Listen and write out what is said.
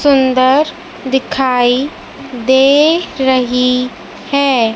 सुंदर दिखाई दे रही है।